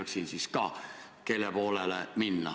Küsin sellepärast, et ma teaksin, kelle poolele minna.